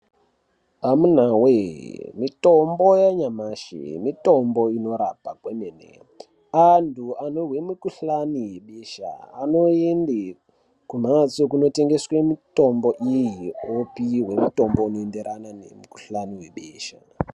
Amunawe mitombo yanyamashi mitombo inorapa kwemene, anhu anozwe mukhuhlani besha anoende kumhatso kunotengeswe mitombo iyi opihwe mitombo inoenderana nemukhuhlani webesha.